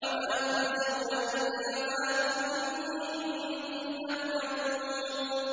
وَمَا تُجْزَوْنَ إِلَّا مَا كُنتُمْ تَعْمَلُونَ